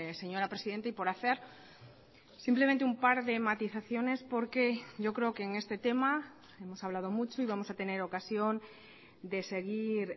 señora presidenta y por hacer simplemente un par de matizaciones porque yo creo que en este tema hemos hablado mucho y vamos a tener ocasión de seguir